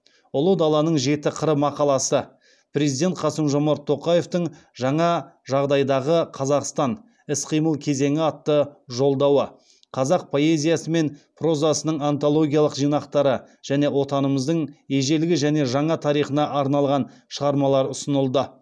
ұлы даланың жеті қыры мақаласы президент қасымжомарт тоқаевтың жаңа жағдайдағы қазақстан іс қимыл кезеңі атты жолдауы қазақ поэзиясы мен прозасының антологиялық жинақтары және отанымыздың ежелгі және жаңа тарихына арналған шығармалар ұсынылды